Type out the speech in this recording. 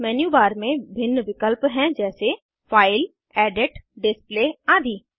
menu bar में भिन्न विकल्प हैं जैसे फाइल एडिट डिस्प्ले आदि